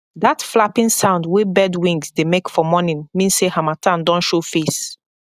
that flapping sound wey bird wings dey make for morning mean say harmattan don show face